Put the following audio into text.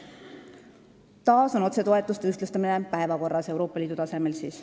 Taas on päevakorral otsetoetuste ühtlustamine Euroopa Liidu tasemel.